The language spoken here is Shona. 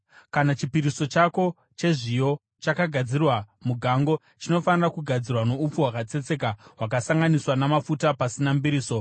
Kana chipiriso chako chezviyo chagadzirirwa mugango, chinofanira kugadzirwa noupfu hwakatsetseka hwakasanganiswa namafuta pasina mbiriso.